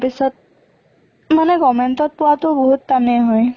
পিছত মানে government ত পোৱাতো বহুত টানে হয়।